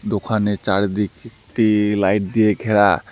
দোকানের চারিদিকটি লাইট দিয়ে ঘেরা।